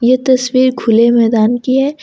ये तस्वीर खुले मैदान की है।